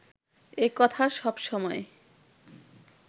এ কথা সবসময়